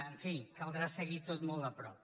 en fi caldrà seguir ho tot molt de prop